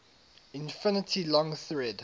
infinitely long thread